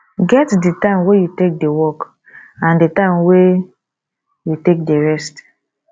get di time wey you take dey work and di time wey you take dey rest